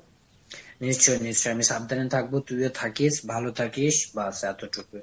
নিশ্চয়ই নিশ্চয়ই আমি সাবধানে থাকবো। তুইও থাকিস, ভালো থাকিস, ব্যাস এতটুকুই।